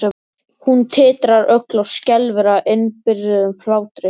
Hún titrar öll og skelfur af innibyrgðum hlátri.